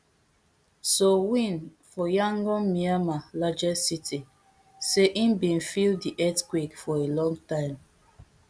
soe lwin for yangon myanmar largest city say im bin feel di earthquake for a long time